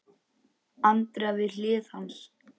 Andrea við hlið hans.